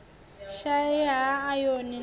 shaea ha ayoni na fo